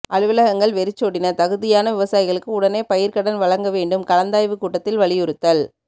அலுவலகங்கள் வெறிச்சோடின தகுதியான விவசாயிகளுக்கு உடனே பயிர் கடன் வழங்க வேண்டு்ம் கலந்தாய்வு கூட்டத்தில் வலியுறுத்தல்